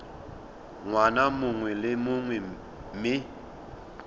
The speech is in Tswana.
ngwaga mongwe le mongwe mme